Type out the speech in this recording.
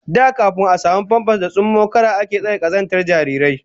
Da kafin a samu famfas da tsummokara ake tare kazantar jarirai